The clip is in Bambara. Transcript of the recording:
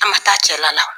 A ma taa cɛla la